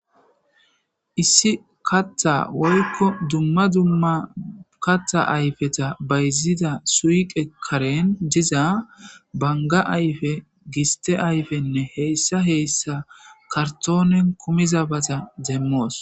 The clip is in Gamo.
issi kattha woykko dumma dumma katha ayfeta bayzida suiqe karen diza banga ayfe giste ayfenne heyssa heyssa kartoonen kumizabata demmoos